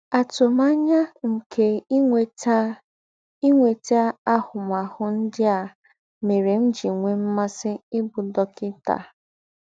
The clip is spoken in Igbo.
Àtùmànyà nke ínwètà ínwètà àhụ̀m̀àhụ̀ ńdị́ à mèrè m̀ jì nwè m̀másị̀ íbụ̀ dọ́kịtà.